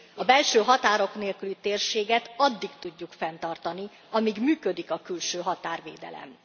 A belső határok nélküli térséget addig tudjuk fenntartani, amíg működik a külső határvédelem.